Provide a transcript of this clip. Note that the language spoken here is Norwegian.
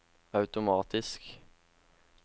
automatisk